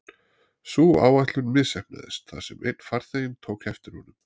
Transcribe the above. Sú áætlun misheppnaðist þar sem einn farþeginn tók eftir honum.